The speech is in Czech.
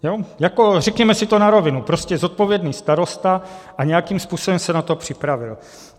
Řekněme si to na rovinu, prostě zodpovědný starosta a nějakým způsobem se na to připravil.